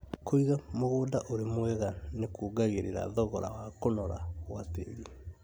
Kũiga mũgũnda ũrĩ mwega nĩkuongagĩrĩra thogora wa kũnora gwa tĩri